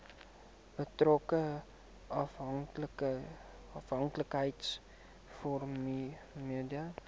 betrokke afhanklikheids vormende